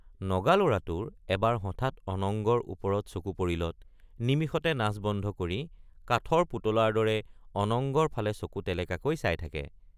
নগা লৰাটোৰ এবাৰ হঠাৎ অনঙ্গৰ ওপৰত চকু পৰিলত নিমিষতে নাচ বন্ধ কৰি কাঠৰ পুতলাৰ দৰে অনঙ্গৰ ফালে চকু টেলেকাকৈ চাই থাকে।